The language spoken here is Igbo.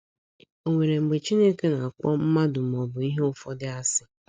Ò nwere mgbe Chineke na - akpọ mmadụ ma ọ bụ ihe ụfọdụ asị??